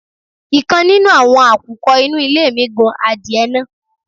ikán nínù awọ́n àkùkọ inú ilé mi gun àdiẹ naá